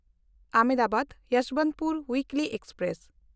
ᱟᱦᱚᱢᱫᱟᱵᱟᱫ–ᱭᱚᱥᱵᱚᱱᱛᱯᱩᱨ ᱩᱭᱤᱠᱞᱤ express